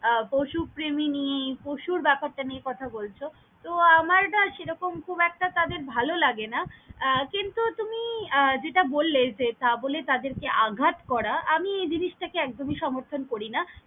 আহ পশুপ্রেমী নিয়ে পশুর ব্যাপারটা নিয়ে কথা বলছ, তো আমার এটা সেরকম খুব একটা তাদের ভালো লাগে না আহ কিন্তু তুমি আহ যেটা বল্লে যে তা বোলে তাদের যে আঘাত করা আমি এই জিনিস টাকে একদমই সমর্থন করি না।